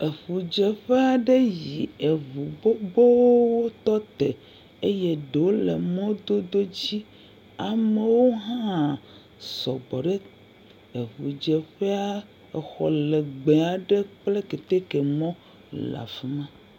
Eŋu dzeƒe aɖe nyee si aŋu xoxowo tɔ te eye wole mɔdodo dzi. Amewo hã sɔgbɔ ɖe eŋu dze ƒea. Exɔ legbe aɖe kple keteke mɔ le afima.